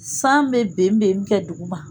San me benben min kɛ dugu ma